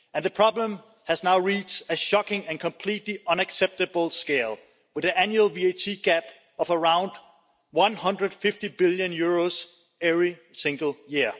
The problem has now reached a shocking and completely unacceptable scale, with an annual VAT gap of around EUR 150 billion every single year.